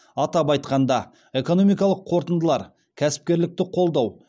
атап айтқанда экономикалық қорытындылар кәсіпкерлікті қолдау